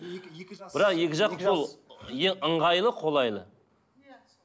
бірақ екі жақ ол е ыңғайлы қолайлы